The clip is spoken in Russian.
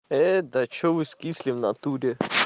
ээ да что вы скисли в натуре